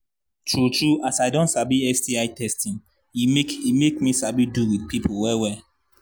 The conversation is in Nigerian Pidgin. true true as i don sabi sti testing e make e make me sabi do with people well well